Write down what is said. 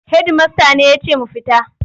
Hedimasta ne ya ce mu fita.